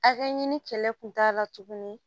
Hakɛ ɲini kɛlɛ kun t'a la tuguni